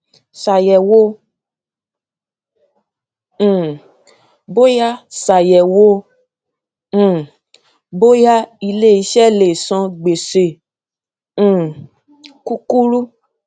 ṣayẹwo um bóyá ṣayẹwo um bóyá iléiṣẹ lè san gbèsè um kúkúrú